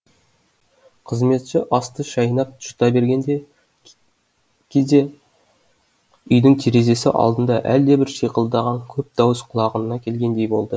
қызметші асты шайнап жұта берген де кезде үйдің терезесі алдында әлдебір шиқылдаған көп дауыс құлағына келгендей болды